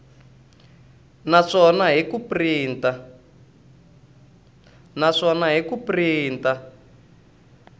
na swona hi ku printa